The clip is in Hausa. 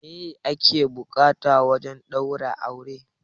Meye ake buƙata wajen ɗaurin aure?